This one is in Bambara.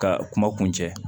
Ka kuma kun cɛ